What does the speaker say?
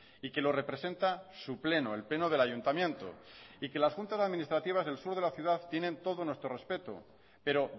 y que lo representa su pleno el pleno del ayuntamiento y que las juntas administrativas del sur de la ciudad tienen todo nuestro respeto pero